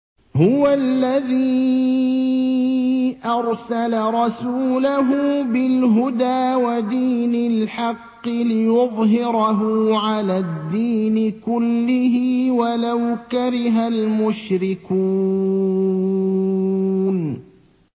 هُوَ الَّذِي أَرْسَلَ رَسُولَهُ بِالْهُدَىٰ وَدِينِ الْحَقِّ لِيُظْهِرَهُ عَلَى الدِّينِ كُلِّهِ وَلَوْ كَرِهَ الْمُشْرِكُونَ